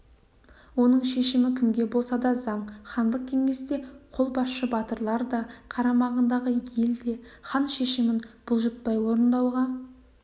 оның шешімі кімге болса да заң хандық кеңесте қолбасшы батырлар да қарамағындағы ел де хан шешімін бұлжытпай орындауға